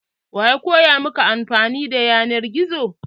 Wa ya koya maka anfani da yanar gizo?